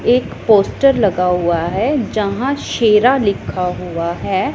एक पोस्टर लगा हुआ है जहां शेरा लिखा हुआ है।